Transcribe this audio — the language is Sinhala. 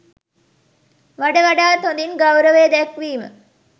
වඩ වඩාත් හොදින් ගෞරවය දැක්වීම